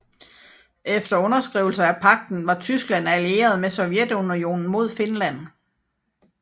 Efter underskrivelsen af pagten var Tyskland allieret med Sovjetunionen mod Finland